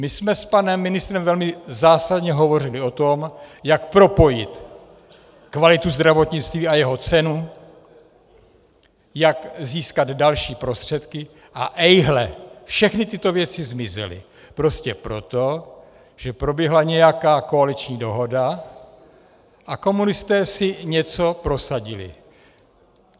My jsme s panem ministrem velmi zásadně hovořili o tom, jak propojit kvalitu zdravotnictví a jeho cenu, jak získat další prostředky - a ejhle, všechny tyto věci zmizely prostě proto, že proběhla nějaká koaliční dohoda a komunisté si něco prosadili.